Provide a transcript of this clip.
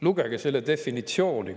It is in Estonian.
Lugege selle definitsiooni!